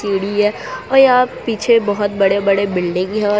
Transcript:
और यहां पीछे यहां बड़े बड़े बिल्डिंग है।